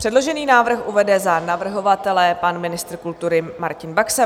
Předložený návrh uvede za navrhovatele pan ministr kultury Martin Baxa.